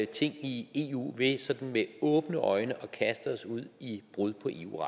ting i eu ved at vi med åbne øjne kaster os ud i brud på eu